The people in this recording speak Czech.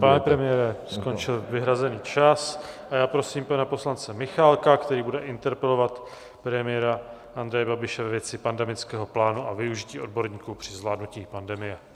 Pane premiére, skončil vyhrazený čas, a já prosím pana poslance Michálka, který bude interpelovat premiéra Andreje Babiše ve věci pandemického plánu a využití odborníků při zvládnutí pandemie.